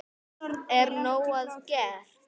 Er nóg að gert?